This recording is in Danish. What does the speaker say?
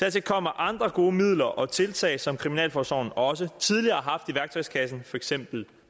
dertil kommer andre gode midler og tiltag som kriminalforsorgen også tidligere har haft i værktøjskassen for eksempel